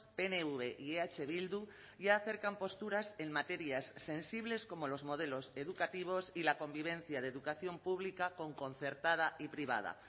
pnv y eh bildu ya acercan posturas en materias sensibles como los modelos educativos y la convivencia de educación pública con concertada y privada